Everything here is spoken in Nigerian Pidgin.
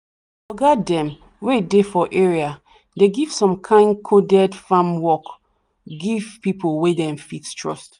the oga them wey dey for area dey give some kind coded farm work give people wen them fit trust